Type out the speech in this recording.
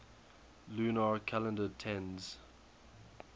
lunar calendar tends